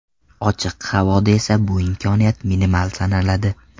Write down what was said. Ochiq havoda esa bu imkoniyat minimal sanaladi.